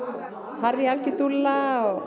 Harry algjör dúlla og